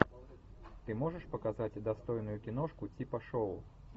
ты можешь показать достойную киношку типа шоу